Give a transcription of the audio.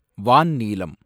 வான் நீலம்